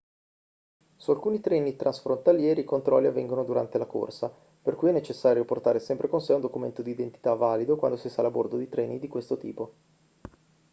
su alcuni treni transfrontalieri i controlli avvengono durante la corsa per cui è necessario portare sempre con sé un documento d'identità valido quando si sale a bordo di treni di questo tipo